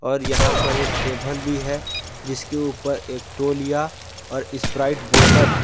और यहा पर एक टेभल भी है जिसके ऊपर एक तौलिया और स्प्राइट बॉटल --